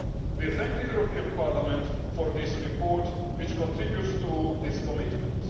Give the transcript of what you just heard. We thank the European Parliament for this report which contributes to this commitment.